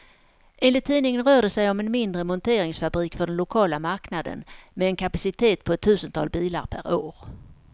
Enligt tidningen rör det sig om en mindre monteringsfabrik för den lokala marknaden, med en kapacitet på ett tusental bilar per år.